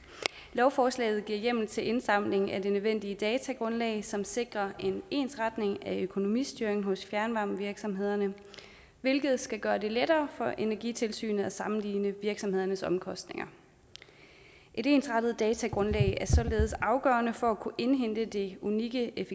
lovforslaget giver hjemmel til indsamling af det nødvendige datagrundlag som sikrer en ensretning af økonomistyringen hos fjernvarmevirksomhederne hvilket skal gøre det lettere for energitilsynet at sammenligne virksomhedernes omkostninger et ensrettet datagrundlag er således afgørende for at kunne indhente det unikke